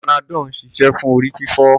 Panadol ń ṣiṣẹ́ fún orí-fífọ́.